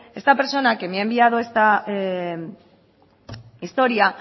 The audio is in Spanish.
esta persona que me ha enviado esta historia